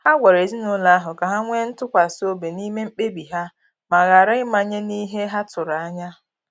Ha gwara ezinụlọ ahụ ka ha nwee ntụkwasi obi n'ime mkpebi ha ma ghara ịmanye n'ihe ha tụrụ anya ya.